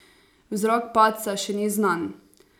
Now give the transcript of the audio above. Vzrok padca še ni znan.